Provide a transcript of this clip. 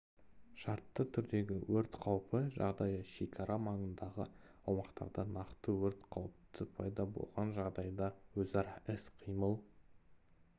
шартты түрдегі өрт қаупі жағдайы шекара маңындағы аумақтарда нақты өрт қауіпті пайда болған жағдайда өзара іс-қимыл